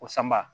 O sanba